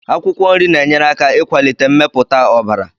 Akwụkwọ nri na-enyere aka ịkwalite mmepụta ọbara.